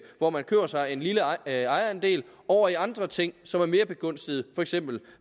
hvor man køber sig en lille ejerandel over i andre ting som er mere begunstigede for eksempel